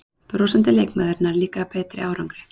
Brosandi leikmaður nær líka betri árangri